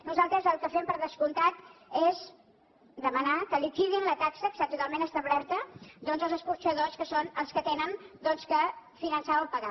nosaltres el que fem per descomptat és demanar que liquidin la taxa que està totalment establerta doncs als escorxadors que són els que han doncs de finançar o pagar